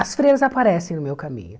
As freiras aparecem no meu caminho.